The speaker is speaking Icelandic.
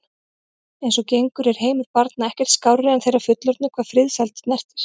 Eins og gengur er heimur barna ekkert skárri en þeirra fullorðnu hvað friðsæld snertir.